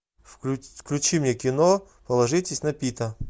включи мне кино положитесь на пита